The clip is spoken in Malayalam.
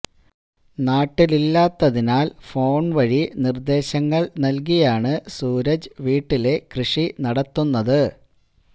നാട്ടിലില്ലാത്തതിനാല് ഫോണ് വഴി നിര്ദ്ദേശങ്ങള് നല്കിയാണ് സൂരജ് വീട്ടിലെ കൃഷി നടത്തുന്നത്